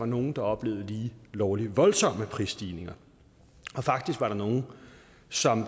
nogle der oplevede lige lovlig voldsomme prisstigninger og faktisk var der nogle som